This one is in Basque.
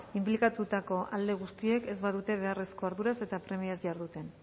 inplikatutako alde guztiek ez badute beharrezko arduraz eta premiaz jarduten